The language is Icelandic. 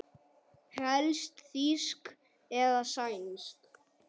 Helst þýsk eða sænsk.